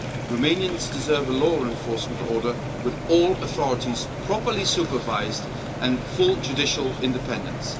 Romanians deserve a law enforcement order with all authorities properly supervised and full judicial independence.